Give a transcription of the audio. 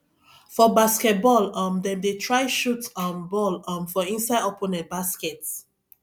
for basket ball um dem dey try shoot um ball um for inside opponent basket